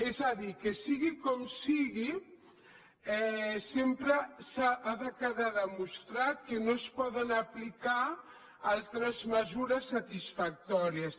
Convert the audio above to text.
és a dir que sigui com sigui sempre ha de quedar demostrat que no es poden aplicar altres mesures satisfactòries